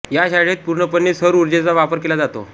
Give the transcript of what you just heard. या शाळेत पूर्णपणे सौर उर्जेचा वापर केला जातो